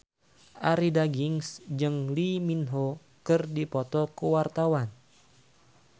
Arie Daginks jeung Lee Min Ho keur dipoto ku wartawan